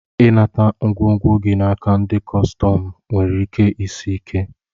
I nata ngwongwo gi naka ndi kọstọm nwere ike isi ike.